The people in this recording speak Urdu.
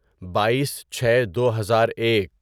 بائیس چھے دوہزار ایک